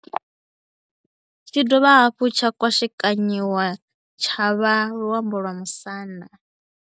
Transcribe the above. Tshi ya dovha hafhu tsha kwashekanyiwa tsha vha na luambo lwa Musanda.